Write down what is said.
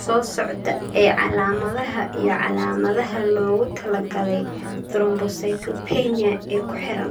soo socda ee calaamadaha iyo calaamadaha loogu talagalay thrombocytopenia ee ku xiran.